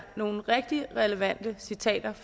nogle rigtig relevante citater